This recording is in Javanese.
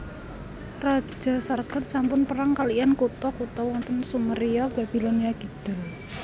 Raja Sargon sampun perang kaliyan kutha kutha wonten Sumeria Babilonia Kidul